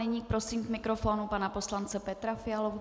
Nyní prosím k mikrofonu pana poslance Petra Fialu.